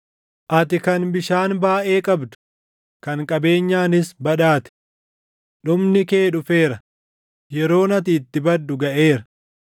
Ati kan bishaan baayʼee qabdu, kan qabeenyaanis badhaate, dhumni kee dhufeera; yeroon ati itti baddu gaʼeera.